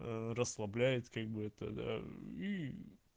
расслабляет как бы это да и